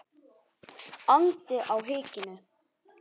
andi á hikinu.